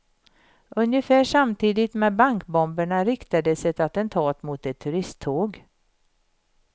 Ungefär samtidigt med bankbomberna riktades ett attentat mot ett turisttåg.